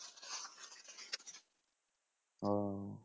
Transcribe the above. ও